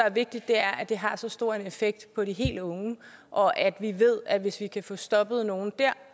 er vigtigt er at det har så stor en effekt på de helt unge og at vi ved at hvis vi kan få stoppet nogle der